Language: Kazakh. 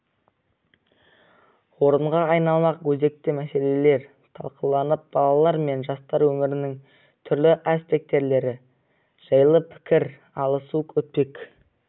орынға айналмақ өзекті мәселелер талқыланып балалар мен жастар өмірінің түрлі аспектілері жайлы пікір алысу өтпек